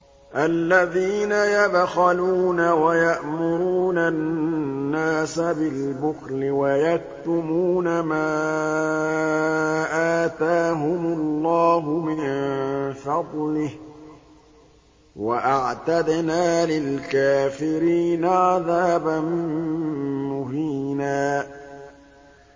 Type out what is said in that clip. الَّذِينَ يَبْخَلُونَ وَيَأْمُرُونَ النَّاسَ بِالْبُخْلِ وَيَكْتُمُونَ مَا آتَاهُمُ اللَّهُ مِن فَضْلِهِ ۗ وَأَعْتَدْنَا لِلْكَافِرِينَ عَذَابًا مُّهِينًا